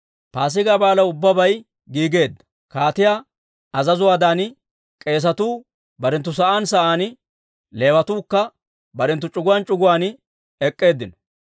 Paasigaa Baalaw ubbabay giigeedda; kaatiyaa azazuwaadan k'eesatuu barenttu sa'aan sa'aan, Leewatuukka barenttu c'uguwaan c'uguwaan ek'k'eeddinno.